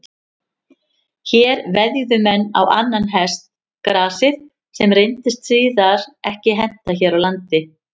Hér veðjuðu menn á annan hest, gasið, sem reyndist síðar ekki henta hér á landi.